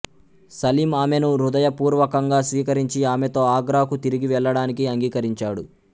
సలీం ఆమెను హృదయపూర్వకంగా స్వీకరించి ఆమెతో ఆగ్రాకు తిరిగి వెళ్ళడానికి అంగీకరించాడు